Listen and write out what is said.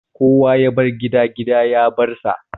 Kowa ya bar gida, gida ya bar sa